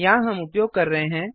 यहाँ हम उपयोग कर रहे हैं